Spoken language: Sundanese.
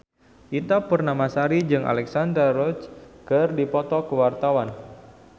Ita Purnamasari jeung Alexandra Roach keur dipoto ku wartawan